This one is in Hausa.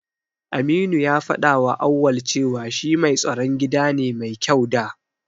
Aminu ya faɗawa Auwal cewa shi mai tsaron gida ne mai kyau da.